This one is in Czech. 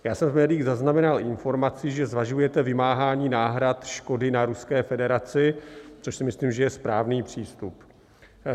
Já jsem v médiích zaznamenal informaci, že zvažujete vymáhání náhrad škody na Ruské federaci, což si myslím, že je správný přístup.